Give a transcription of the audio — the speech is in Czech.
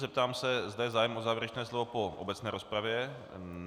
Zeptám se, zda je zájem o závěrečné slovo po obecné rozpravě.